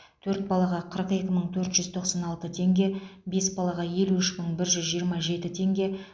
төрт балаға қырық екі мың төрт жүз тоқсан алты теңге бес балаға елу үш мың бір жүз жиырма жеті теңге